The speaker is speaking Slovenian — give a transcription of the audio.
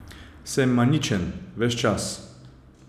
Sem maničen ves čas?